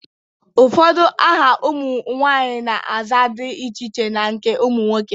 Ụfọdụ aha ụmụ nwaanyị na-aza dị iche na nke ụmụ nwoke.